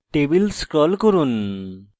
table scroll করুন